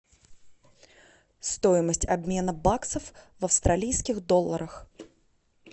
стоимость обмена баксов в австралийских долларах